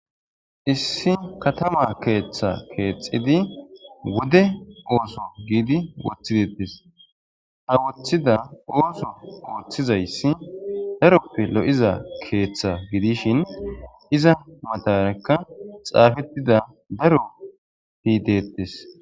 issi katama keeththa keexxidi wode ooso giidi woththidetes ha wothida ooso ooththizayssi daroppe lo7iza keeththa gidishin iza matarekka xaafettida daro pideettes